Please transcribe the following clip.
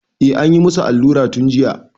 Eh, anyi musu allura tun jiya.